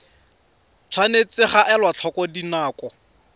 tshwanetse ga elwa tlhoko dinako